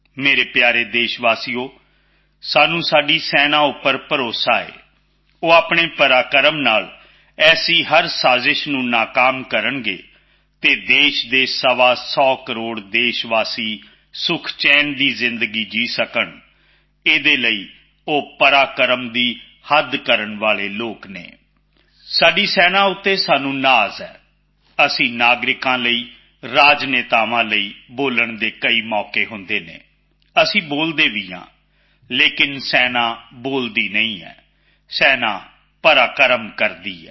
ਮੇਰੇ ਪਿਆਰੇ ਦੇਸ਼ਵਾਸੀਓ ਸਾਨੂੰ ਆਪਣੀ ਸੈਨਾ ਤੇ ਭਰੋਸਾ ਹੈ ਉਹ ਆਪਣੇ ਸਾਹਸ ਨਾਲ ਅਜਿਹੀ ਹਰ ਸਾਜਿਸ਼ ਨੂੰ ਨਾਕਾਮ ਕਰਨਗੇ ਅਤੇ ਦੇਸ਼ ਦੇ ਸਵਾ ਸੌ ਕਰੋੜ ਦੇਸ਼ਵਾਸੀ ਸੁਖ ਚੈਨ ਦੀ ਜ਼ਿੰਦਗੀ ਜੀ ਸਕਣ ਇਸ ਲਈ ਉਹ ਸਾਹਸ ਦੇ ਸਿਖਰ ਤੇ ਜਾਣ ਵਾਲੇ ਲੋਕ ਹਨ ਸਾਡੀ ਸੈਨਾ ਤੇ ਸਾਨੂੰ ਮਾਣ ਹੈ ਸਾਡੇ ਨਾਗਰਿਕਾਂ ਲਈ ਰਾਜਨੇਤਾਵਾਂ ਲਈ ਬੋਲਣ ਦੇ ਕਈ ਅਵਸਰ ਹੁੰਦੇ ਹਨ ਅਸੀਂ ਬੋਲਦੇ ਵੀ ਹਾਂ ਪਰ ਸੈਨਾ ਬੋਲਦੀ ਨਹੀਂ ਹੈ ਸੈਨਾ ਕੰਮ ਕਰਦੀ ਹੈ